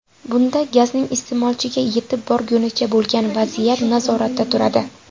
Bunda gazning iste’molchiga yetib borgunicha bo‘lgan vaziyat nazoratda turadi.